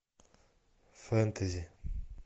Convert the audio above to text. фэнтези